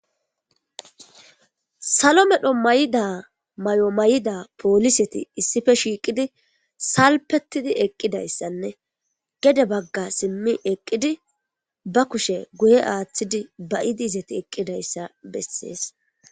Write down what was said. Salo medho mayida may7o mayida pooliseti issife shiiqidi salpetidi eqqidayssanne gede bagga simmi eqqidi ba kushe guye aaththidi bayidi izati eqqidayssa bessees.